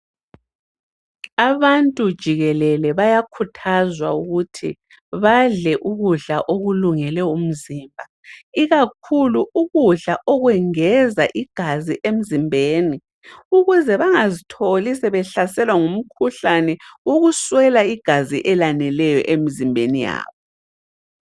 Abantu jikelele bayakhuthazwa ukuthi badle ukudla okulungele umzimba, ikakhulu ukudla okwengeza igazi emzimbeni ukuze bangazitholi sebehlaselwa ngumkhuhlane ukuswela igazi elaneleyo emzimbeni yabo.